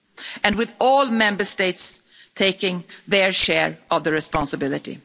And with all Member States taking their share of the responsibility.